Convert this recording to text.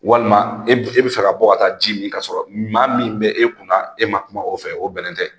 Walima e bi fɛ ka bɔ ka taa ji mi ka sɔrɔ maa min bɛ e kunna, e ma kuma o fɛ . O bɛnnen tɛ.